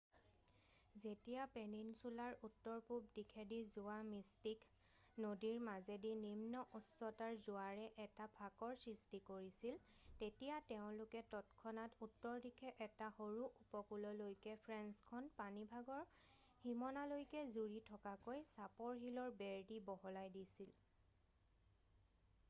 যেতিয়া পেনিনচুলাৰ উত্তৰ-পূৱ দিশেদি যোৱা মিষ্টিক নদীৰ মাজেদি নিম্ন উচ্চতাৰ জোৱাৰে এটা ফাঁকৰ সৃষ্টি কৰিছিল তেতিয়া তেওঁলোকে তৎক্ষণাত উত্তৰ দিশে এটা সৰু উপকূললৈকে ফেন্সখন পানীভাগৰ সীমনালৈকে জুৰি থকাকৈ চাপৰ শিলৰ বেৰ দি বহলাই দিছিল